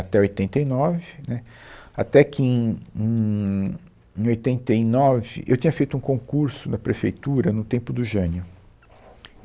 até oitenta e nove, né, até que em, em, em oitenta e nove, eu tinha feito um concurso na prefeitura no tempo do Jânio.